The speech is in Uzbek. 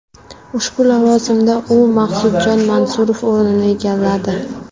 Ushbu lavozimda u Maqsudjon Mansurov o‘rnini egalladi.